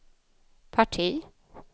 parti